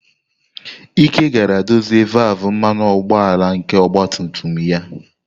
Ike gara dozie valvụ mmanụ ụgbọala nke ọgba tum tum ya.